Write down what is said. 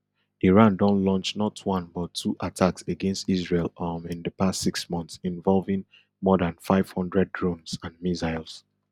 iran don launch not one but two attacks against israel um in di past six months involving more dan five hundred drones and missiles